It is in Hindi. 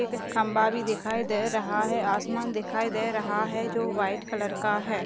एक खंभा भी दिखाई दे रहा हैं आसमान दिखाई दे रहा हैं जो व्हाइट कलर का हैं।